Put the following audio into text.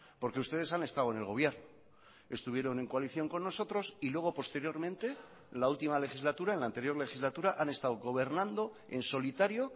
porque ustedes han estado en el gobierno estuvieron en coalición con nosotros y luego posteriormente la última legislatura en la anterior legislatura han estado gobernando en solitario